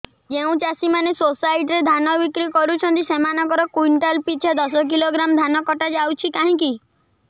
ଯେଉଁ ଚାଷୀ ମାନେ ସୋସାଇଟି ରେ ଧାନ ବିକ୍ରି କରୁଛନ୍ତି ସେମାନଙ୍କର କୁଇଣ୍ଟାଲ ପିଛା ଦଶ କିଲୋଗ୍ରାମ ଧାନ କଟା ଯାଉଛି କାହିଁକି